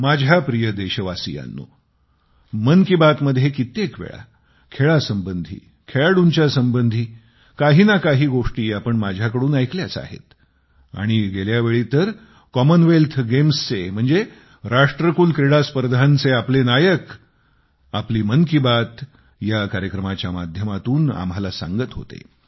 माझ्या प्रिय देशवासियांनो मन कि बात मध्ये कित्येक वेळा खेळासंबंधी खेळाडूंच्या संबंधी काही ना काही गोष्टी आपण माझ्याकडून ऐकल्याच आहेत आणि गेल्या वेळी तर राष्ट्रकुल क्रीडा स्पर्धांचे आपले नायक आपली मन की बात या कार्यक्रमाच्या माध्यमातून आम्हाला सांगत होते